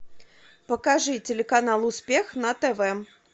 покажи телеканал успех на тв